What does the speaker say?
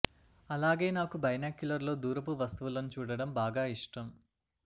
అలాగే నాకు బైనాక్యులర్ లో దూరపు వస్తువులను చూడటం బాగా ఇష్టం